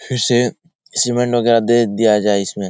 फिर से सीमेंट वगेरा दे दिया जाए इसमे --